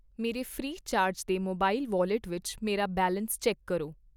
ਮੇਰੇ Freecharge ਦੇ mobile wallet ਵਿੱਚ ਮੇਰਾ ਬੈਲੈਸ ਚੈੱਕ ਕਰੋ